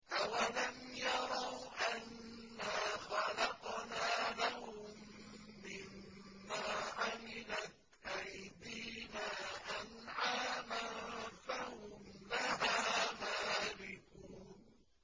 أَوَلَمْ يَرَوْا أَنَّا خَلَقْنَا لَهُم مِّمَّا عَمِلَتْ أَيْدِينَا أَنْعَامًا فَهُمْ لَهَا مَالِكُونَ